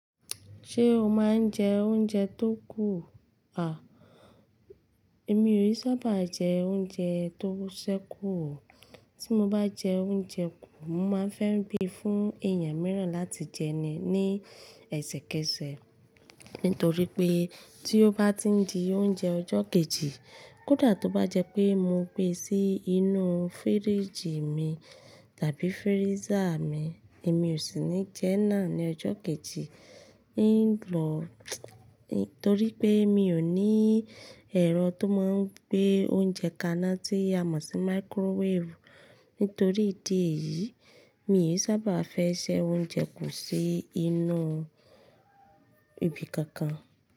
Ṣé o máa ń jẹ oúnjẹ tó kù? À, èmi i sábà jẹ oúnjẹ tó ṣẹ́ kù o. Tí mo bá jẹ oúnjẹ kù, mo máa ń fẹ́ gbe fún èèyàn mìíràn láti jẹ ní ẹsẹ̀kẹsẹ̀, nítorí pé tí ó bá tin di oúnjẹ ọjọ́ kejì, kódà tó bá jẹ pé mo gbé sí inú fíríjì mi tàbí freezer mi, èmi ò sì ní jẹ́ náà ní ọjọ́ kejì. Ní lọ́, nítorí pé mi ò ní ẹ̀rọ tó máa ń gbé oúnjẹ kaná tí a mọ̀ sí microwave. Nítorí ìdí èyí, mi i sábà fẹ́ se oúnjẹ kù sí inú ibi kankan.